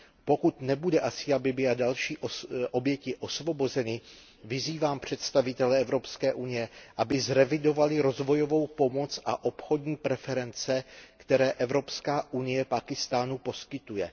Pokud nebude Asia Bibiová a další oběti osvobozeny, vyzývám představitele Evropské unie, aby zrevidovali rozvojovou pomoc a obchodní preference, které Evropská unie Pákistánu poskytuje.